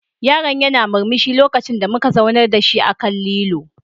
Yaron yana murmushi lokacin da muka zaunar da shi akan lilo.